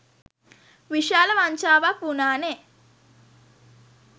විශාල වංචාවක් වුණානේ.